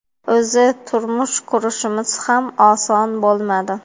O‘zi turmush qurishimiz ham oson bo‘lmadi.